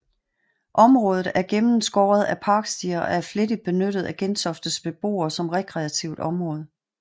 Området er gennemskåret af parkstier og er flittigt benyttet af Gentoftes beboere som rekreativt område